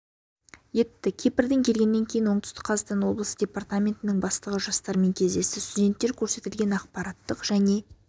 етті кипрден келгеннен кейін оңтүстік қазақстан облысы департаментінің бастығы жастармен кездесті студенттер көрсетілген ақпараттық және